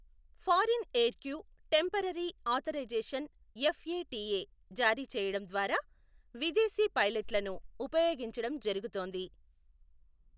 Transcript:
Foreign aircrew temporary authorisation FATA జారీ చేయడం ద్వారా విదేశీ పైలట్లను ఉపయోగించడం జరుగుతోంది.